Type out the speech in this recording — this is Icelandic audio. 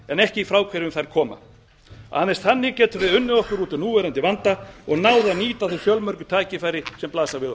en ekki frá hverjum þær koma aðeins þannig getum við unnið okkur út úr núverandi vanda og náð að nýta þau fjölmörgu tækifæri sem blasa við